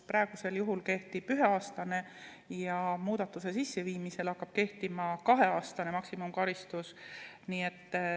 Praegusel juhul kehtib üheaastane karistus, muudatuse tegemisel hakkab kehtima kaheaastane maksimumkaristus.